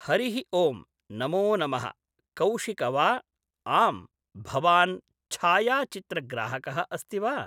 हरिः ओं नमो नमः कौशिक वा आं भवान् छायाचित्रग्राहकः अस्ति वा